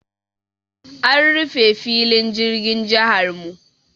An rufe filin jirgin jihar mu.